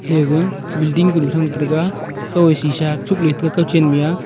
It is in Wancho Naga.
te ga vilding kunu thrang teraga kaw e shisha chukley taiga kawchen mih a.